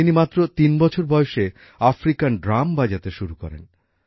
তিনি মাত্র ৩ বছর বয়সে আফ্রিকান ড্রাম বাজাতে শুরু করেন